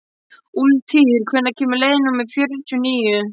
Úlftýr, hvenær kemur leið númer fjörutíu og níu?